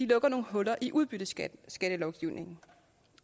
lukker nogle huller i udbytteskattelovgivningen